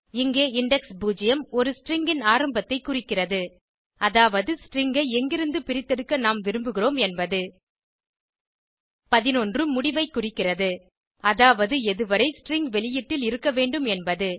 இங்கே இண்டெக்ஸ் 0 ஒரு ஸ்ட்ரிங் ன் ஆரம்பத்தைக் குறிக்கிறது அதாவது ஸ்ட்ரிங் ஐ எங்கிருந்து பிரித்தெடுக்க நாம் விரும்புகிறோம் என்பது 11 முடிவைக் குறிக்கிறது அதாவது எதுவரை ஸ்ட்ரிங் வெளியீட்டில் இருக்க வேண்டும் என்பது